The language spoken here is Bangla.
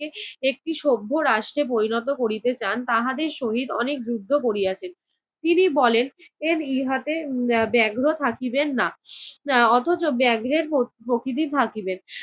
একটি সভ্য রাষ্ট্রে পরিণত করিতে চান তাহাদের শহীদ অনেক যুদ্ধ করিয়াছেন। তিনি বলেন ইহাতে উম ব্যাগ্র থাকিবে না। অথচ ব্যাগ্রের প~ প্রকৃতি থাকিবে।